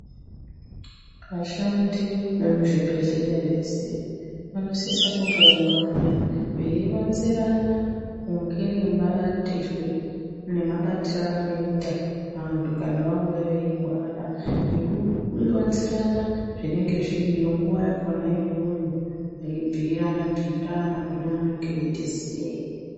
Vashandi vemuzvibhedhleya vese vanosisa kumboungana, veyironzerana kunge nemarapirwe nemabatiro evanoyita vantu kana vauya veyirwara, nekuronzerana zvinenge zviriyo nguwa yakona iyoyo, veyi bhuyirana-bhuyirana kune vanenge veyitiziye.